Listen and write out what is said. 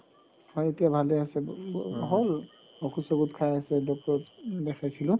হয় এতিয়া ভালে আছে হ'ল ঔষধ চৌষধ খাই আছে doctor ক দেখাইছিলো